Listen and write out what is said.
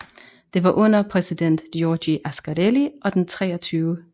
Det var under præsident Giorgio Ascarelli og den 23